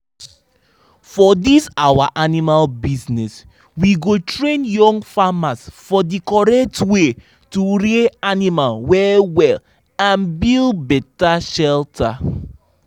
for dis our animal business we go train young farmers for the correct way to rear animal well-well and build better shelter.